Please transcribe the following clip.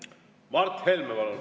Mart Helme, palun!